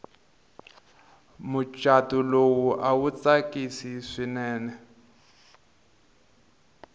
muchato lowu awa awu tsakisi swinene